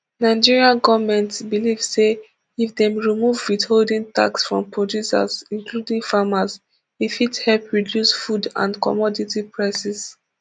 nigeria goment belive say if dem remove withholding tax from producers including farmers e fit help reduce food and commodity prices